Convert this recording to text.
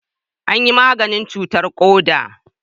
An yi maganin cutarr koda